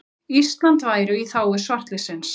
Ísland væru í þágu svartliðsins.